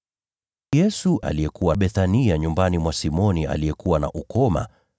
Yesu alikuwa Bethania nyumbani mwa Simoni aliyekuwa na ukoma,